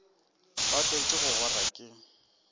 wa tlwaela go gora ke